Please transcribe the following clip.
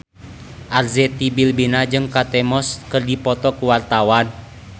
Arzetti Bilbina jeung Kate Moss keur dipoto ku wartawan